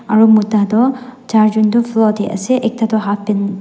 aru mota toh char jon toh floor teh ase ekta toh halfpant --